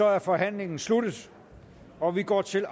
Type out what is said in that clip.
er forhandlingen sluttet og vi går til